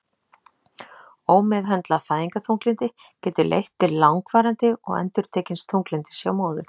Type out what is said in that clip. Ómeðhöndlað fæðingarþunglyndi getur leitt til langvarandi og endurtekins þunglyndis hjá móður.